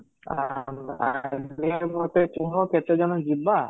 clear ମୋତେ କୁହ କେତେ ଜଣ ଯିବା?